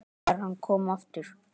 ÞEGAR HANN KOM AFTUR